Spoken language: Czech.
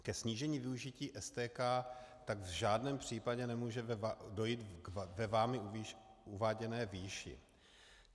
Ke snížení využití STK tak v žádném případě nemůže dojít ve vámi uváděné výši.